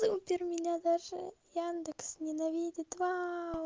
супер меня даже яндекс ненавидит вау